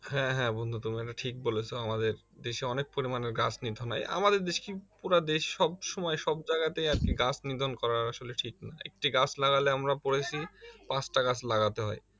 হ্যা হ্যা বন্ধু তুমি এটা ঠিক বলেছো আমাদের দেশে অনেক পরিমানে গাছ নিধন হয় আমাদের দেশ কি পুরা দেশ সবসময় সব জাগাতেই আর কি গাছ নিধন করা আসলে ঠিক না একটি গাছ লাগালে আমরা পড়েছি পাঁচটা গাছ লাগাতে হয়